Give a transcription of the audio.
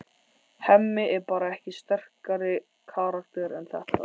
Hemmi er bara ekki sterkari karakter en þetta.